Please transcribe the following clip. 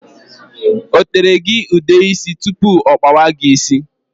O tere gị ude ísì tụpụ ọ kpawa gị ịsị?